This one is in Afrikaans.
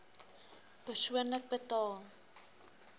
persoonlik betaal